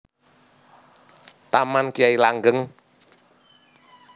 Taman Kyai Langgeng